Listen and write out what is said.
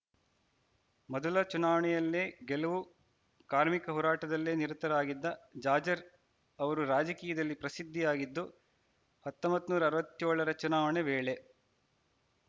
ಮೊದಲ ಚುನಾವಣೆಯಲ್ಲೇ ಗೆಲುವು ಕಾರ್ಮಿಕ ಹೋರಾಟದಲ್ಲೇ ನಿರತರಾಗಿದ್ದ ಜಾಜ್‌ ರ್ ಅವರು ರಾಜಕೀಯದಲ್ಲಿ ಪ್ರಸಿದ್ಧಿಯಾಗಿದ್ದು ಹತೊಂಬತ್ತ್ ನೂರ ಹದಿನೇಳರ ಚುನಾವಣೆ ವೇಳೆ